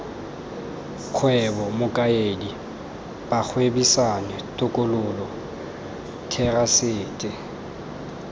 kgwebo mokaedi bagwebisani tokololo therasete